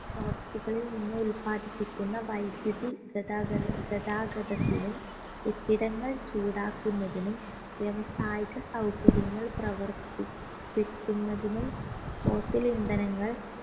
സ്രോതസ്സുകളിൽ നിന്ന് ഉല്പാദിപ്പിക്കുന്ന വൈദ്യുതി ഗതാഗത ഗതാഗതത്തിനും കെട്ടിടങ്ങൾ ചൂടാക്കുന്നതിനും വ്യവസായിക സൗകര്യങ്ങൾ പ്രവർത്തിപ്പിക്കുന്നതിനും fossil ഇന്ധനങ്ങൾ